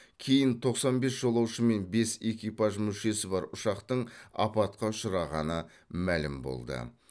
кейін тоқсан бес жолаушы мен бес экипаж мүшесі бар ұшақтың апатқа ұшырағаны мәлім болды